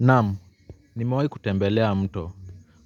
Naam, nimewahi kutembelea mto.